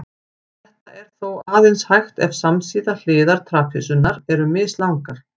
Þetta er þó aðeins hægt ef samsíða hliðar trapisunnar eru mislangar.